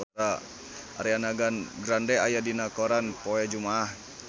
Ariana Grande aya dina koran poe Jumaah